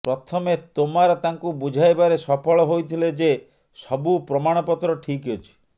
ପ୍ରଥମେ ତୋମାର ତାଙ୍କୁ ବୁଝାଇବାରେ ସଫଳ ହୋଇଥିଲେ ଯେ ସବୁ ପ୍ରମାଣପତ୍ର ଠିକ୍ ଅଛି